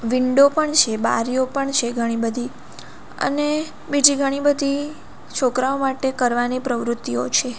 Window પણ છે બારીઓ પણ છે ઘણી બધી અને બીજી ઘણી બધી છોકરાઓ માટે કરવાની પ્રવૃત્તિઓ છે.